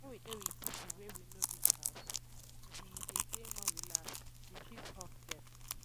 when we dey with pipo wey we know reach house we de dey more relaxed we fit hug them